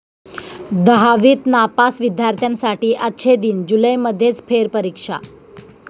दहावीत नापास विद्यार्थ्यांसाठी 'अच्छे दिन', जुलैमध्येच फेरपरीक्षा